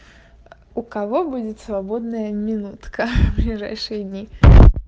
у кого будет свободная минутка ближайшие дни